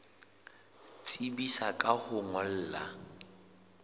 tsebisa ka ho o ngolla